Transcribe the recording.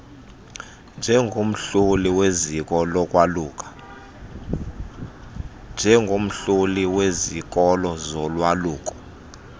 njengomhloli wezikolo zolwaluko